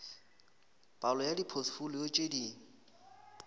palo ya dipotfolio tše di